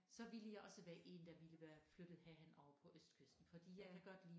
Så ville jeg også være én der ville være flyttet herhen over på østkysten fordi jeg kan godt lide